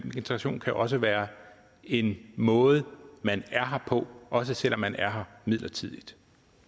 integration kan også være en måde man er her på også selv om man er her midlertidigt